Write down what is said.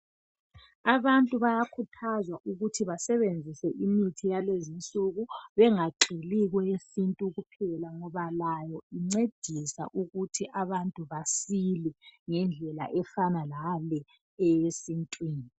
Abantu bayakhuthazwa ukuba imithi yalezinsuku bengagxili kweyesintwini kuphela ngoba layo incedisa ukuthi abantu basile ngendlela efana laleyesintwini